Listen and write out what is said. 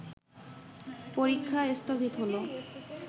পরীক্ষা স্থগিত হলো